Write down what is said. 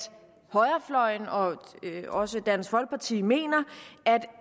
højrefløjen og også dansk folkeparti mener at